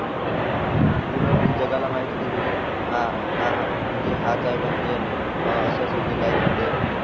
पूर्ण म्हणजे जगाला माहित होतं की हे हा हा म्हणजे हाच आहे बा म्हणजे याने अह असं असं केलंय तिकडे.